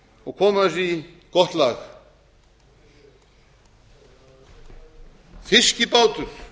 og koma þessu í gott lag fiskibátur